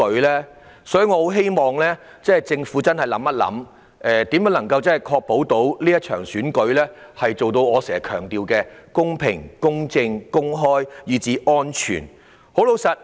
因此，我很希望政府可以想想，如何確保這場選舉可以做到我經常強調的公平、公正、公開，以至安全。